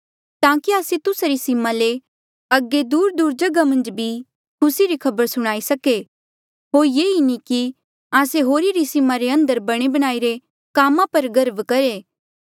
ताकि आस्से तुस्सा री सीमा ले अगे दूरदूर जगहा मन्झ भी खुसी री खबर सुणाई सके होर ये नी कि आस्से होरी री सीमा रे अंदर बणे बणाईरे कामा पर गर्व करहे